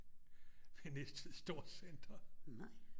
Ved Næstved Storcenter